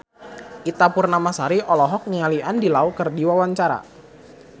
Ita Purnamasari olohok ningali Andy Lau keur diwawancara